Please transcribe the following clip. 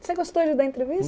Você gostou de dar entrevista?